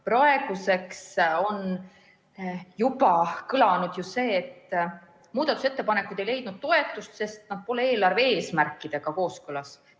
Praeguseks on juba kõlanud ju see, et muudatusettepanekud ei leidnud toetust, sest nad pole eelarve eesmärkidega kooskõlas.